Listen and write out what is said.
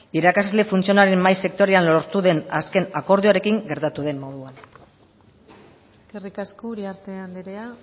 irakasle funtzionarioen mahai sektorialean lortu den akordioarekin gertatu den moduan eskerrik asko uriarte anderea